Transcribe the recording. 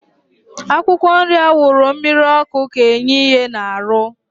Akwụkwọ nri awuru mmiri ọkụ ka enye ihe na arụ